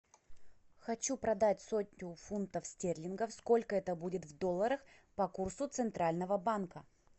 хочу продать сотню фунтов стерлингов сколько это будет в долларах по курсу центрального банка